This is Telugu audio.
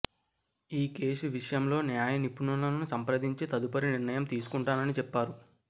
ఈ కేసు విషయంలో న్యాయనిపుణులను సంప్రదించి తదుపరి నిర్ణయం తీసుకుంటానని చెప్పారు